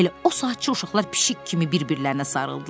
Elə o saatçı uşaqlar pişik kimi bir-birlərinə sarıldılar.